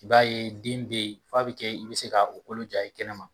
I b'a ye den bɛ ye f'a bɛ kɛ i bɛ se ka o kolo jaa ye kɛnɛma.